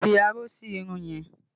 Fi aró sí irun yẹn!